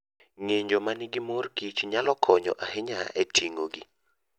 Ng'injo ma nigi mor kich nyalo konyo ahinya e ting'ogi.